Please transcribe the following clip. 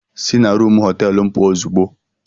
Sị na rumụ họteelu m puo ozugbo!